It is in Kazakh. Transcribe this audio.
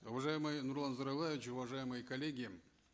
уважаемый нурлан зайроллаевич уважаемые коллеги